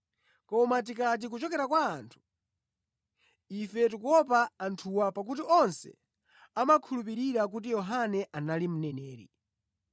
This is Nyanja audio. Koma tikati, ‘Kuchokera kwa anthu,’ ife tikuopa anthuwa, pakuti onse amakhulupirira kuti Yohane anali mneneri.”